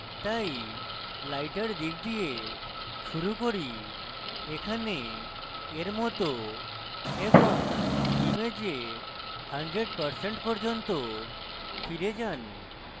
তাই lighter দিক দিয়ে শুরু করি এখানে এর মত এবং image 100% পর্যন্ত ফিরে যান